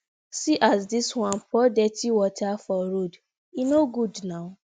see as dis one pour dirty water for road e no good na